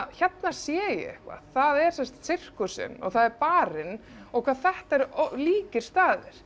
hérna sé ég eitthvað það er sem sagt sirkusinn og það er barinn og hvað þetta eru líkir staðir